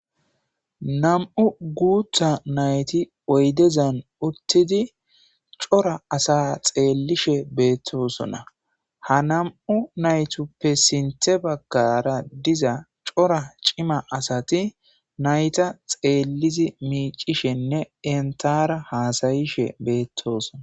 nam7u guutha nayti oydezan uttidi cora asa xeellishe beettosona ha nam7u naytuppe sinthe baggara diza cora cima asati nayta xeellizi miicishenne entara haasayishe beettosona